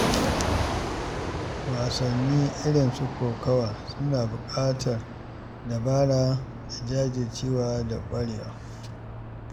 Wasanni irin su kokawa suna buƙatar dabara da jajircewa da ƙwarewa.